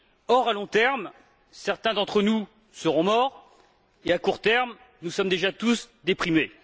Or, à long terme, certains d'entre nous seront morts, et, à court terme, nous sommes déjà tous déprimés.